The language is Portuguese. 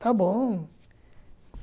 Tá bom.